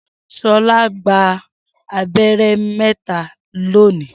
Shola gba abẹ́rẹ́ mẹ́ta lónìí.